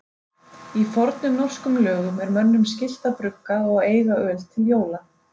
Í fornum norskum lögum er mönnum skylt að brugga og eiga öl til jóla.